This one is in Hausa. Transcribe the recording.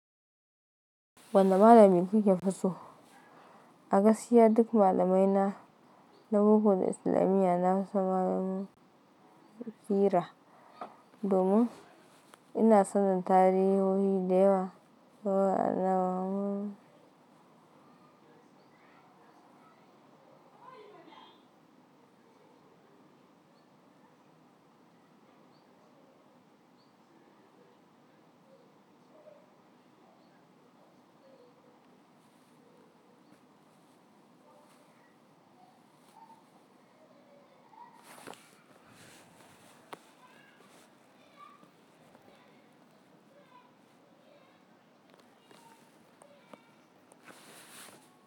Wanne malami kuka fiso? A gaskiya duk malamaina na bugun Islamiyya na fi sa mamakiira domin ina son tarihohi da yawa na mu.